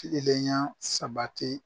Kilenlenya sabati